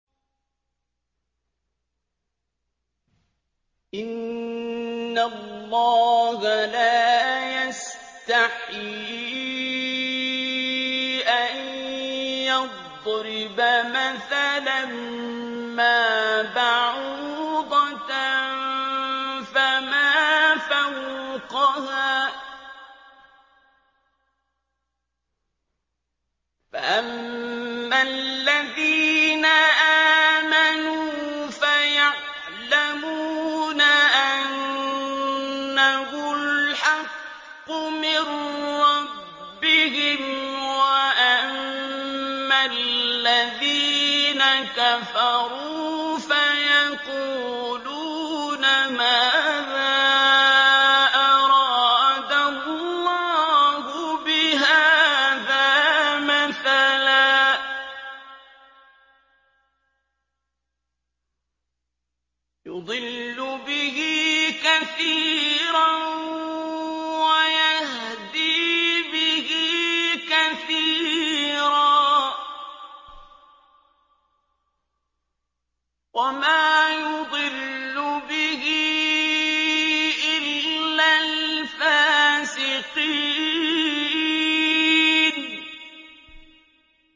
۞ إِنَّ اللَّهَ لَا يَسْتَحْيِي أَن يَضْرِبَ مَثَلًا مَّا بَعُوضَةً فَمَا فَوْقَهَا ۚ فَأَمَّا الَّذِينَ آمَنُوا فَيَعْلَمُونَ أَنَّهُ الْحَقُّ مِن رَّبِّهِمْ ۖ وَأَمَّا الَّذِينَ كَفَرُوا فَيَقُولُونَ مَاذَا أَرَادَ اللَّهُ بِهَٰذَا مَثَلًا ۘ يُضِلُّ بِهِ كَثِيرًا وَيَهْدِي بِهِ كَثِيرًا ۚ وَمَا يُضِلُّ بِهِ إِلَّا الْفَاسِقِينَ